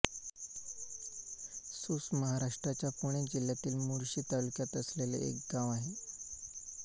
सूस महाराष्ट्राच्या पुणे जिल्ह्यातील मुळशी तालुक्यात असलेले एक गाव आहे